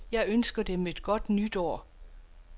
Jeg ønsker dem et godt nytår.